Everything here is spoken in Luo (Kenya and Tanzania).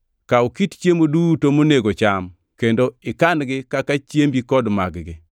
Kaw kit chiemo duto monego cham kendo ikan-gi kaka chiembi kod mag-gi.”